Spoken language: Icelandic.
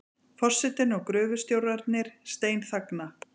Forsetinn og gröfustjórarnir steinþagna.